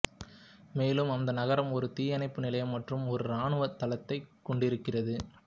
மேலும் அந்த நகரம் ஒரு தீயனைப்பு நிலையம் மற்றும் ஒரு இராணுவத் தளத்தைக் கொண்டிருக்கிறது